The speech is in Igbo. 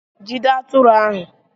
Jide atụrụ ahu!